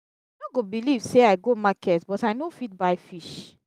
you no go believe say i go market but i no fit buy fish.